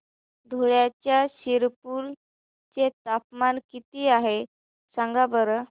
धुळ्याच्या शिरपूर चे तापमान किता आहे सांगा बरं